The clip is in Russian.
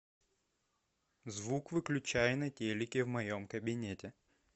звук выключай на телике в моем кабинете